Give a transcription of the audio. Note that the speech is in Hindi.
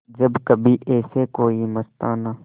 जब कभी ऐसे कोई मस्ताना